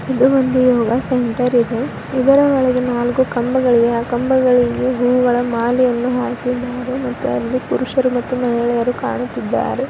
ಇದು ಬಂದು ಯೋಗ ಸೆಂಟರ್ ಇದೆ ಇದರ ಒಳಗೆ ನಾಲ್ಕು ಕಂಬಗಳಿವೆ ಆ ಕಂಬಗಳಿಗೆ ಹೂವಿನ ಮಾಲೆಯನ್ನು ಹಾಕಿದ್ದಾರೆ ಮತ್ತು ಅಲ್ಲಿ ಪುರುಷರು ಮತ್ತು ಮಹಿಳೆಯರು ಕಾಣುತ್ತಿದ್ದಾರೆ.